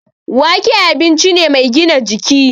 Wake abinci ne mai gina jiki